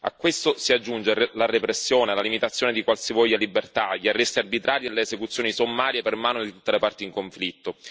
A questo si aggiunge la repressione, la limitazione di qualsivoglia libertà, gli arresti arbitrari e le esecuzioni sommarie per mano di tutte le parti in conflitto.